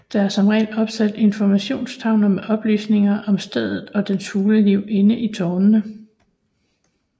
Der er som regel opsat informationstavler med oplysninger om stedet og dets fugleliv inde i tårnene